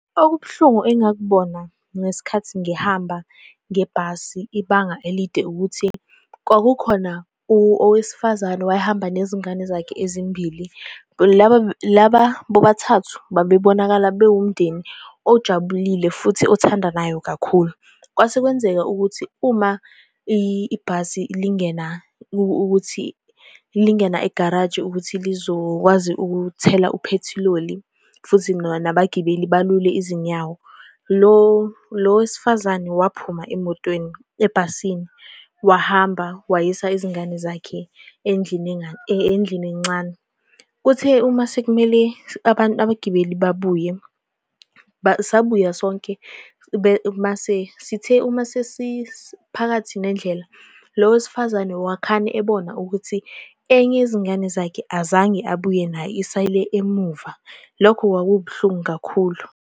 Okubuhlungu engakubona ngesikhathi ngihamba ngebhasi ibanga elide ukuthi kwakukhona owesifazane owayehamba nezingane zakhe ezimbili. Laba laba bobathathu babebonakala bewumndeni ojabulile futhi othandanayo kakhulu. Kwase kwenzeka ukuthi uma ibhasi lingena, ukuthi lingena egaraji, ukuthi lizokwazi ukuthela uphethiloli, futhi noma nabagibeli balule izinyawo, lo lo wesifazane waphuma emotweni, ebhasini, wahamba, wayisa izingane zakhe endlini endlini encane. Kuthe uma sekumele abagibeli babuye, sabuya sonke. Mase, sithe uma sesiphakathi nendlela lo wesifazane wakhane ebona ukuthi enye yezingane zakhe azange abuye nayo. Isale emuva. Lokho kwakubuhlungu kakhulu.